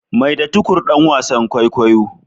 Maida Tukur dan wasan kwaikwayo.